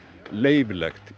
leyfilegt